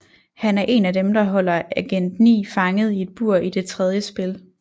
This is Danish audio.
Han er en af dem der holder Agent 9 fanget i et bur i det tredje spil